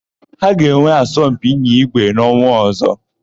Ha ga-enwe asọmpi ịnya ígwé n'ọnwa ọ̀zọ́.